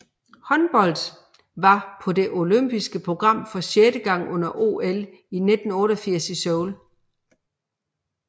Håndbold var med på det olympiske program for sjette gang under OL 1988 i Seoul